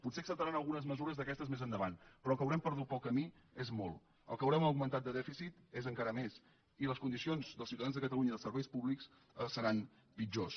potser acceptaran algunes mesures d’aquestes més endavant però el que haurem perdut pel camí és molt el que haurem augmentat de dèficit és encara més i les condicions dels ciutadans de catalunya i els serveis públics seran pitjors